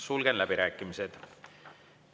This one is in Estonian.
Sulgen läbirääkimised.